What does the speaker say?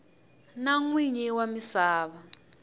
na n winyi wa misava